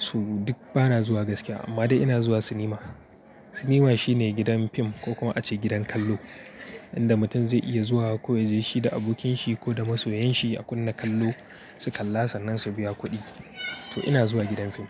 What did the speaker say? Su duk bana zuwa gaskiya amma dai ina zuwa sinima. Sinima shine gidan fim ko kuma a ce gidan kallo inda mutum zai iya zuwa ko ya je shi da abokin shi ko da masoyan shi a kunna kallo, su kalla sannan su biya kuɗi. To ina zuwa gidan fim.